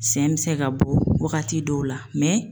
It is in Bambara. Sɛn bɛ se ka bɔ wagati dɔw la